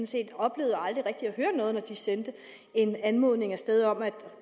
set oplevede aldrig rigtig at høre noget når de sendte en anmodning af sted om at